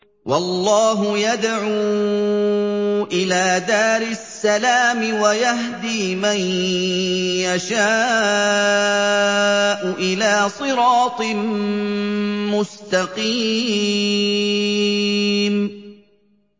وَاللَّهُ يَدْعُو إِلَىٰ دَارِ السَّلَامِ وَيَهْدِي مَن يَشَاءُ إِلَىٰ صِرَاطٍ مُّسْتَقِيمٍ